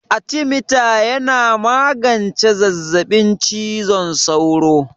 Artemeta yana magance zazzaɓin cizon sauro?